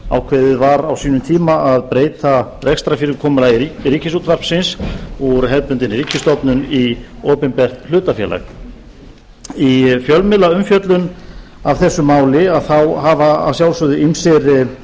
ákveðið var á sínum tíma að breyta rekstrarfyrirkomulagi ríkisútvarpsins úr hefðbundinni ríkisstofnun í opinbert hlutafélag í fjölmiðlaumfjöllun af þessu máli hafa að sjálfsögðu ýmsir